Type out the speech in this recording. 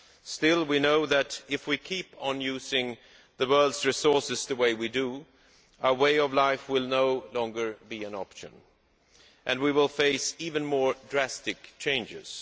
Still, we know that if we keep on using the world's resources the way we do, our current way of life will no longer be an option and we will face even more drastic changes.